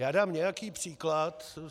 Já dám nějaký příklad.